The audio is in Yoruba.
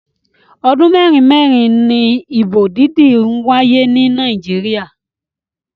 Ọdún mẹ́rin mẹ́rin ni ìbò dídí ń wáyé ni Nàìjíríà.